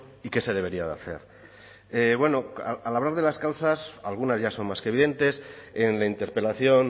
y qué se debería de hacer bueno al hablar de las causas algunas ya son más que evidentes en la interpelación